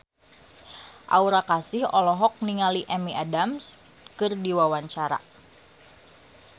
Aura Kasih olohok ningali Amy Adams keur diwawancara